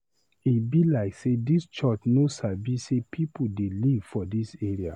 E be like sey dis church no sabi sey pipu dey live for dis area.